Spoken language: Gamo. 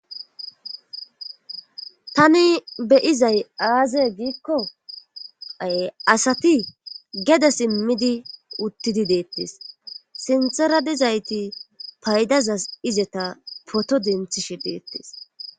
tani be7izay aaze giikko asati gede simmidi uttidi deettes sinthera dizayti paydazas izeta poto denthishe deettes.